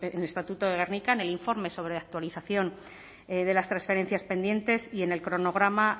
el estatuto de gernika en el informe sobre la actualización de las transferencias pendientes y en el cronograma